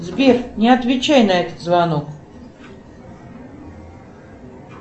сбер не отвечай на этот звонок